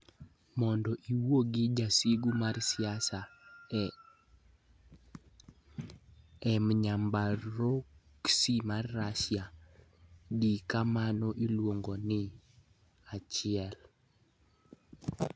Mondo iwuo gi jasigu mar siasa e Emnyamburkosy mar Russia, di kama iluongo ni 1.